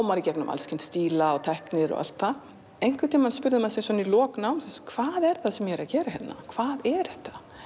maður í gegnum allskyns stíla og tækni og allt það einhvern tímann spurði maður sig svo í lok náms hvað er það sem ég er að gera hérna hvað er þetta